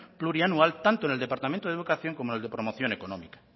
plurianual tanto en el departamento de educación como en el de promoción económica